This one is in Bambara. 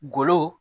Golo